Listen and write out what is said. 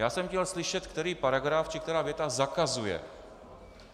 Já jsem chtěl slyšet, který paragraf či která věta zakazuje.